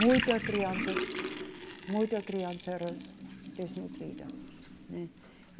Muita criança, muita criança era desnutrida.